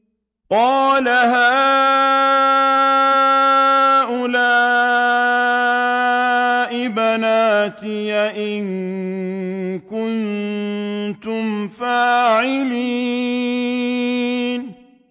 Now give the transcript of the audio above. قَالَ هَٰؤُلَاءِ بَنَاتِي إِن كُنتُمْ فَاعِلِينَ